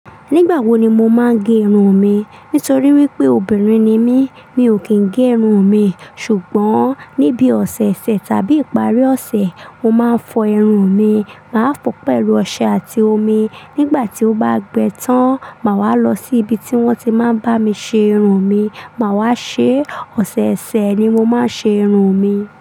Nígbà wo ni mo máa ń gé irun mi? Nítorí wípé obìnrin ni mí, mi ò kí ń gé irun mi. Sugbon níbi ọ̀sẹ̀ẹ̀sẹ̀ tàbí ìparí ọ̀sẹ̀, mo máa ń fọ irun mi. Màá fọ pẹ̀lú ọṣẹ àti omi. Nígbà tí ó bá gbẹ tán, màá wá lọ sí ibi tí wón ti máa ń bá mi ṣe irun mi. Màá wá ṣe ọ̀sẹ̀ẹ̀sẹ̀ ni mo máa ń ṣe irun mi.